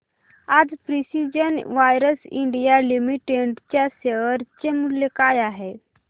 आज precision wires India limited च्या share चे मूल्य काय आहे